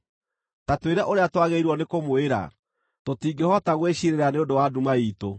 “Ta twĩre ũrĩa twagĩrĩirwo nĩ kũmwĩra; tũtingĩhota gwĩciirĩra nĩ ũndũ wa nduma iitũ.